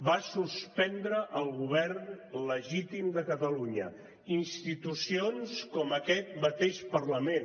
va suspendre el govern legítim de catalunya institucions com aquest mateix parlament